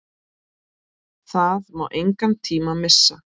Það má engan tíma missa!